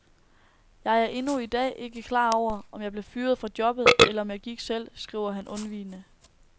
Jeg er endnu i dag ikke klar over, om jeg blev fyret fra jobbet, eller om jeg gik selv, skriver han undvigende.